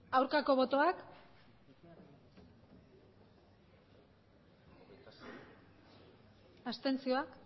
aurkako botoak abstentzioak